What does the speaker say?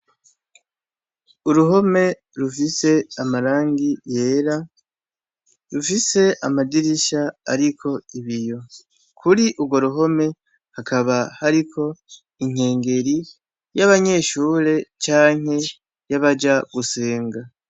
Uruhome rufise amarangi yera rufise amadirisha ariko ibiyo , kuri urwo ruhome hakaba hariko inkengeri y'abanyeshure canke y'abaja gusenga.